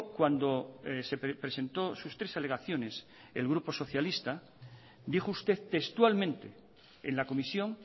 cuando presentó sus tres alegaciones el grupo socialista dijo usted textualmente en la comisión